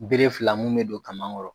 Beree fila mun bɛ don kaman kɔrɔ.